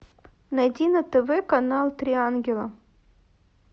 найди на тв канал три ангела